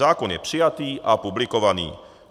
Zákon je přijatý a publikovaný.